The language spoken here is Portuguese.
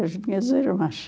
As minhas irmãs.